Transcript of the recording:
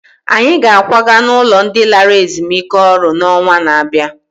Anyị ga-akwaga n'ụlọ ndị lara ezumike ọrụ n'ọnwa na-abịa